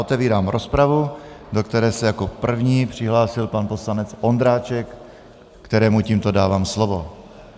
Otevírám rozpravu, do které se jako první přihlásil pan poslanec Ondráček, kterému tímto dávám slovo.